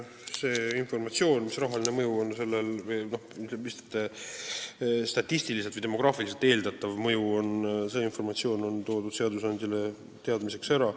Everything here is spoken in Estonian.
See informatsioon, mis rahaline mõju sellel on või mis on eeldatav mõju statistiliselt või demograafiliselt, on toodud seadusandjale teadmiseks ära.